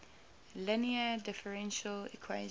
linear differential equation